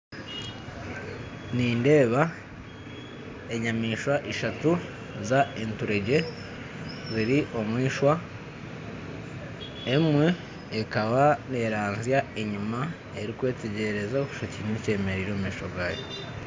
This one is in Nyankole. Nindeeba enyamaishwa ishatu z'enturegye ziri omu eishwa emwe ekaba neeranzya enyima erikwetegyereza orikushusha oti haine ekyemereire omumaisho gaayo